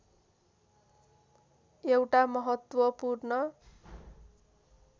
एउटा महत्त्वपूर्ण